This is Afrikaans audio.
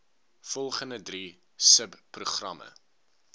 volgende drie subprogramme